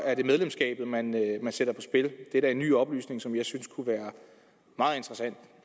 er det medlemskabet man sætter på spil det er da en ny oplysning som jeg synes er interessant